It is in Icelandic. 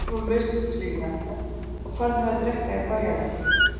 Hestarnir voru lausir við klyfjarnar og farnir að drekka í bæjarlæknum.